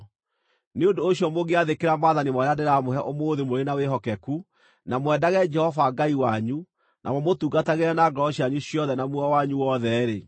Nĩ ũndũ ũcio mũngĩathĩkĩra maathani marĩa ndĩramũhe ũmũthĩ mũrĩ na wĩhokeku, na mwendage Jehova Ngai wanyu, na mũmũtungatagĩre na ngoro cianyu ciothe na muoyo wanyu wothe-rĩ,